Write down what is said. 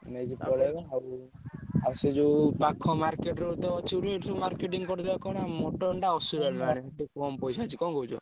ନେଇକି ପଳେଇବା ଆଉ ଆଉ ସେ ଯୋଉ ପାଖ market ରୁ ତ ଏଠୁ ସବୁ marketing କରିଦବା କଣ ଆଉ ମଟନ ଟା ଅସୁରାଳି ରୁ ଆଣିବା ସେଠି କମ୍ ପଇସା ଅଛି କଣ କହୁଛ?